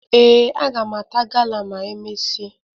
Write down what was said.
Ee, aga m ata gala ma e mesịa